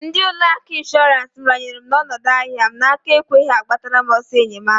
Ndi ụlọ akụ Ishorance m ranyelu onodu ahịa m n'aka ekweghi agbatara m oso enyemaka.